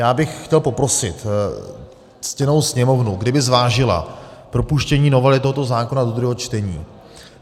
Já bych chtěl poprosit ctěnou Sněmovnu, kdyby zvážila propuštění novely tohoto zákona do druhého čtení.